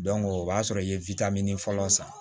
o b'a sɔrɔ i ye fɔlɔ san